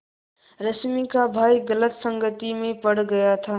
रश्मि का भाई गलत संगति में पड़ गया था